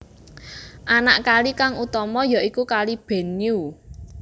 Anak kali kang utama ya iku Kali Benue